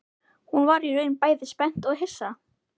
Hún varð í raun bæði spennt og hissa